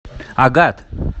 агат